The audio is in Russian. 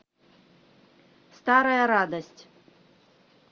старая радость